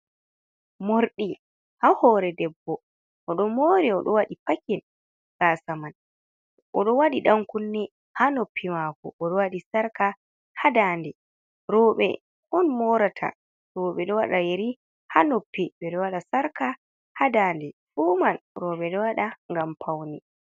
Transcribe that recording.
Morɗi, ha hoore debbo, oɗo mori, oɗo waɗi pakin gaasa man, oɗo waɗi ɗan kunne ha noppi mako, oɗo waɗi sarka ha ndande, rewɓe on morata, rewɓe ɗo waɗa yeri ha noppi ɓedo waɗa sarka ha dande fuuman rewɓe ɗo waɗa gam faune.